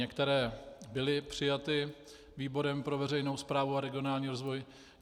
Některé byly přijaty výborem pro veřejnou správu a regionální rozvoj.